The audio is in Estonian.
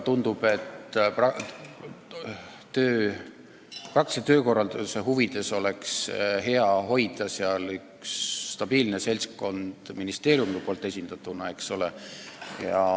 Tundub, et praktilise töökorralduse huvides oleks ministeeriumil hea hoida seal üht stabiilset seltskonda.